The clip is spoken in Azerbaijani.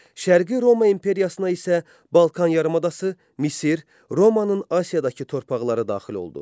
Şərqi Roma imperiyasına isə Balkan yarımadası, Misir, Romanın Asiyadakı torpaqları da daxil oldu.